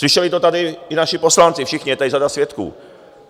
Slyšeli to tady i naši poslanci, všichni, je tady řada svědků.